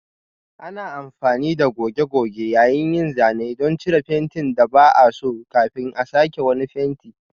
Ana amfani da goge-goge yayin yin zanen don cire fentin da ba a so kafin a sake fenti.